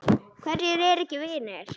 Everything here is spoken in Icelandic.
Hverjir eru ekki vinir?